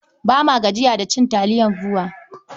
Ba ma gajiya da cin taliyar BUA.